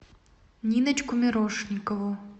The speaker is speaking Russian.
ниночку мирошникову